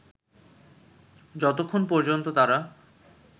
যতক্ষণ পর্যন্ত তারা